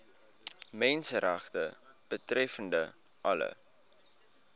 menseregte betreffende alle